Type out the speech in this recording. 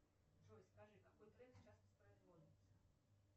джой скажи какой трек сейчас воспроизводится